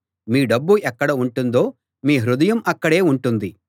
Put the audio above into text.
మీ డబ్బు ఎక్కడ ఉంటుందో మీ హృదయం అక్కడే ఉంటుంది